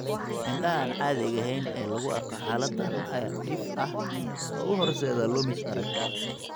Indhaha aan caadiga ahayn ee lagu arko xaaladdan ayaa dhif ah u horseeda lumis arag.